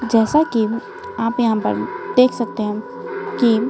जैसा कि आप यहां पर देख सकते हैं कि--